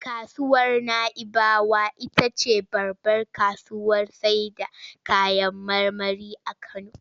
Kasuwar Na'ibawa ita ce babbar kasuwar sayarda kayan marmari a Kano.